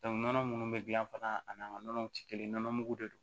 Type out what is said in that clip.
nɔnɔ minnu bɛ gilan fana a n'an ka nɔnɔw tɛ kelen nɔnɔ mugu de don